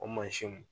O mansinw